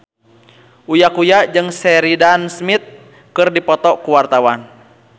Uya Kuya jeung Sheridan Smith keur dipoto ku wartawan